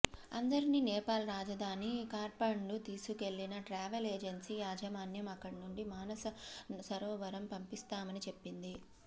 అందరినీ నేపాల్ రాజధాని ఖాట్మండ్కు తీసుకెళ్లిన ట్రావెల్ ఏజెన్సీ యాజమాన్యం అక్కడి నుంచి మానస సరోవరం పంపిస్తామని చెప్పింది